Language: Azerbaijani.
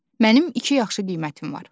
Mənim iki yaxşı qiymətim var.